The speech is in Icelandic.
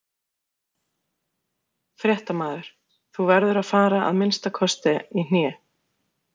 Fréttamaður: Þú verður að fara að minnsta kosti í hné?